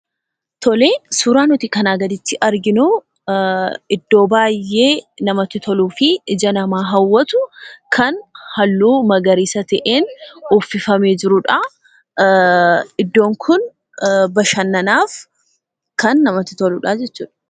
Tole suuraa nuti kanaa gaditti arginuu iddoo baay'ee namatti toluu fi ija namaa hawwatu kan halluu magariisa ta'een uffifamee jirudhaa. Iddoon kun bashannanaaf kan namatti toludhaa jechuudha.